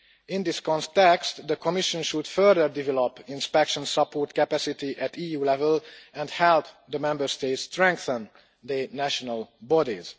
In this context, the Commission should further develop inspection support capacity at EU level and help the Member States strengthen their national bodies.